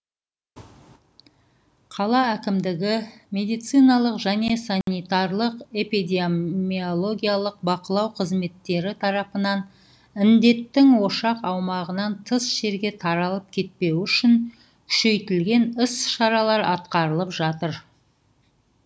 қала әкімдігі медициналық және санитарлық эпидемиологиялық бақылау қызметтері тарапынан індеттің ошақ аумағынан тыс жерге таралып кетпеуі үшін күшейтілген іс шаралар атқарылып жатыр